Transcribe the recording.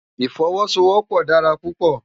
Ifòwòsówòpò dàrá púpò